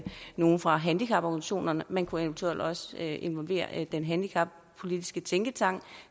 nogle fra handicaporganisationerne man kunne eventuelt også involvere den handicappolitiske tænketank